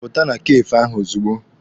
Pụta na kafee ahụ ozugbo!